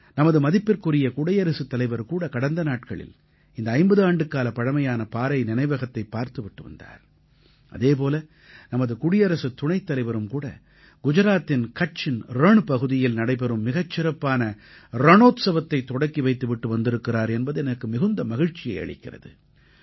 நமது மதிப்பிற்குரிய குடியரசுத் தலைவர்கூட கடந்த நாட்களில் இந்த 50 ஆண்டுக்கால பழமையான பாறை நினைவகத்தைப் பார்த்து விட்டு வந்தார் அதே போல நமது குடியரசுத் துணைத்தலைவரும்கூட குஜராத்தின் கட்சின் ரண் பகுதியில் நடைபெறும் மிகச் சிறப்பான ரணோத்ஸவத்தைத் தொடக்கி வைத்துவிட்டு வந்திருக்கிறார் என்பது எனக்கு மிகுந்த மகிழ்ச்சியை அளிக்கிறது